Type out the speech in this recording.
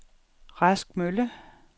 Rask Mølle